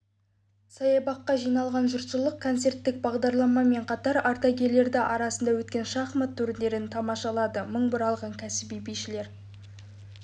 саябаққа жиналған жұртшылық концерттік бағдарламамен қатар ардагерлер арасында өткен шахмат турнирін тамашалады мың бұралған кәсіби бишілер